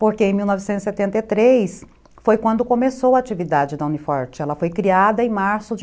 Porque em mil novecentos e setenta e três, foi quando começou a atividade da Uni forte, ela foi criada em março de